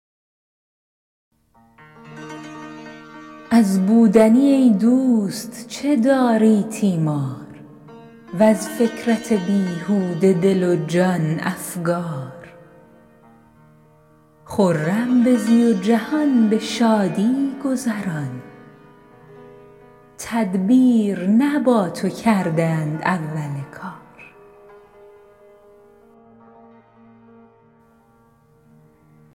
از بودنی ای دوست چه داری تیمار وز فکرت بیهوده دل و جان افکار خرم بزی و جهان به شادی گذران تدبیر نه با تو کرده اند اول کار